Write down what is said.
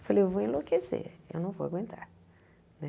Eu falei, eu vou enlouquecer, eu não vou aguentar.